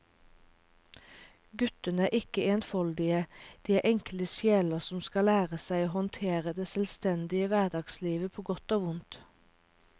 Guttene er ikke enfoldige, de er enkle sjeler som skal lære seg å håndtere det selvstendige hverdagslivet på godt og vondt.